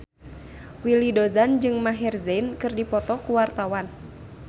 Willy Dozan jeung Maher Zein keur dipoto ku wartawan